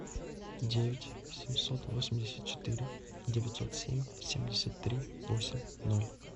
девять семьсот восемьдесят четыре девятьсот семь семьдесят три восемь ноль